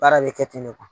Baara bɛ kɛ ten de kuwa